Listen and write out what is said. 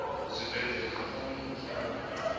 zwibveledzwa zwa fhano hayani zwohe